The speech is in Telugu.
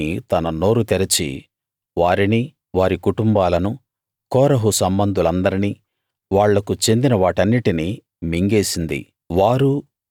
భూమి తన నోరు తెరిచి వారిని వారి కుటుంబాలను కోరహు సంబంధులందర్నీ వాళ్లకు చెందిన వాటన్నిటినీ మింగేసింది